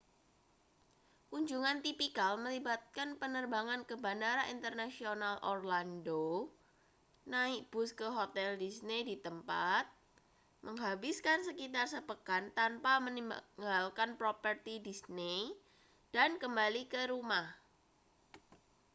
kunjungan tipikal melibatkan penerbangan ke bandara internasional orlando naik bus ke hotel disney di tempat menghabiskan sekitar sepekan tanpa meninggalkan properti disney dan kembali ke rumah